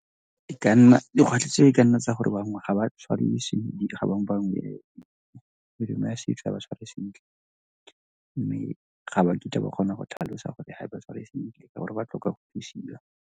dikgwetlho tse e ka nna tsa gore bangwe ga ba tshware ga bangwe . Melemo ya setso ga e ba tshware sentle mme ga ba kitla ba kgona go tlhalosa gore ga e ba tshware sentle ka gore ba tlhoka go .